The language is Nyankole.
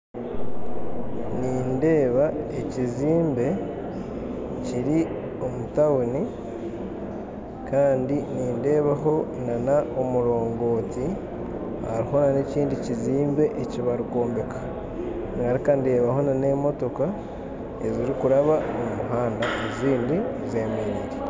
Nindeeba ekizimbe kiri omu tawuni kandi nindeebaho omurongoti hariho na n'ekindi kizimbe eki barikwombeka, ngaruka ndebaho n'emootoka zirikuraba omu muhanda, ezindi zemerire.